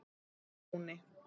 Birkitúni